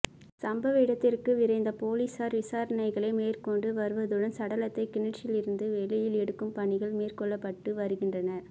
சம்பவ இடத்திற்கு விரைந்த பொலிஸார் விசாரணைகளை மேற்கொண்டு வருவதுடன் சடலத்தை கிணற்றிலிருந்து வெளியில் எடுக்கும் பணிகள் மேற்கொள்ளப்பட்டு வருகின்றன